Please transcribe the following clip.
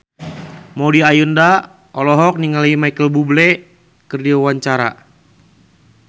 Maudy Ayunda olohok ningali Micheal Bubble keur diwawancara